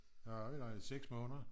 hvad var vi der i 6 måneder